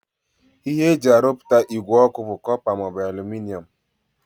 Ihe e ji arụpụta ìgwè ọkụ bụ kọpa maọbụ alụminịọm